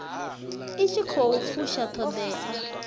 i tshi khou fusha ṱhoḓea